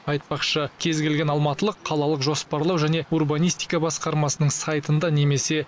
айтпақшы кез келген алматылық қалалық жоспарлау және урбанистика басқармасының сайтында немесе